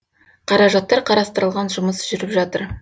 қаражаттар қарастырылған жұмыс жүріп жатыр